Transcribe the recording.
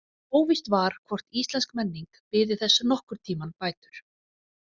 Óvíst var hvort íslensk menning biði þess nokkurn tímann bætur.